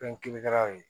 Fɛn kirikaraw ye